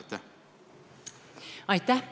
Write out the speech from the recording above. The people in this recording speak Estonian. Aitäh!